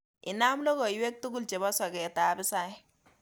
Inam logoywek tugul chebo soketab hisaik